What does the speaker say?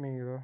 Mi ò rọ.